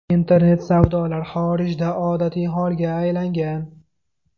Internet savdolar xorijda odatiy holga aylangan.